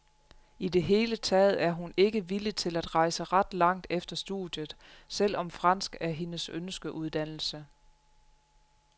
I det hele taget er hun ikke villig til at rejse ret langt efter studiet, selv om fransk er hendes ønskeuddannelse.